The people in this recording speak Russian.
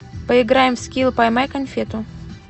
поиграем в скил поймай конфету